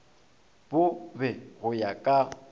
bo be go ya ka